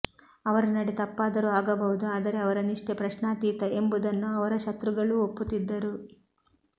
ಅವರ ನಡೆ ತಪ್ಪಾದರೂ ಆಗಬಹುದು ಆದರೆ ಅವರ ನಿಷ್ಠೆ ಪ್ರಶ್ನಾತೀತ ಎಂಬುದನ್ನು ಅವರ ಶತ್ರುಗಳೂ ಒಪ್ಪುತ್ತಿದ್ದರು